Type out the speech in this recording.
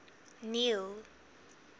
neil